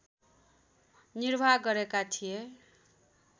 निर्वाह गरेका थिए